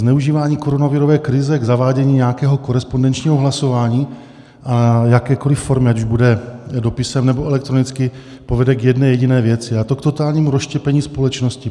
Zneužívání koronavirové krize k zavádění nějakého korespondenčního hlasování a jakékoli formy, ať už bude dopisem, nebo elektronicky, povede k jedné jediné věci, a to k totálnímu rozštěpení společnosti.